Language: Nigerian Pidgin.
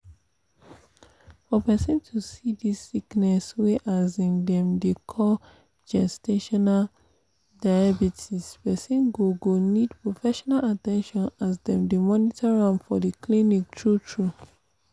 for persin to see this sickness wey um dem dey call gestational diabetespersin go go need professional at ten tion as dem dey monitor am for in clinics true true